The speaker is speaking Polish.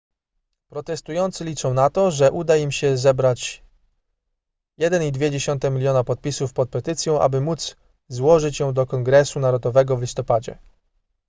protestujący liczą na to że uda im się zebrać 1,2 miliona podpisów pod petycją aby móc złożyć ją do kongresu narodowego w listopadzie